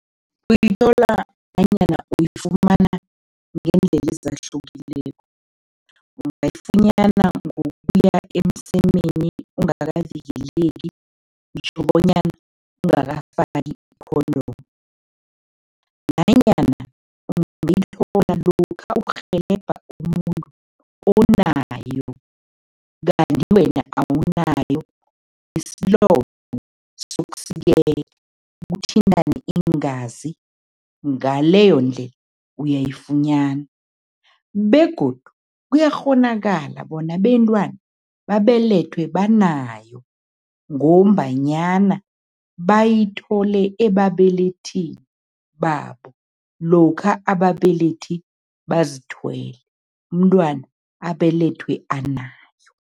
Uyithola nanyana uyifumana ngeendlela ezahlukileko. Ungayifunyana ngokuya emsemeni ungakavikeleki, ngitjho bonyana ungakafaki i-condom nanyana ungayithola lokha urhelebha umuntu onayo kanti wena awunayo, isilonda kuthintane iingazi ngaleyondlela uyayifunyana begodu kuyakghonakala bona abentwana babelethwe banayo ngombanyana bayithole ebabelethini babo lokha ababelethi bazithwele, umntwana abelethwe anayo.